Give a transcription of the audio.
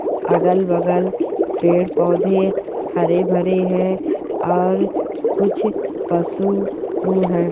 अगल -बगल पेड़ -पौधे हरे -भरे है और कुछ पशु भी है।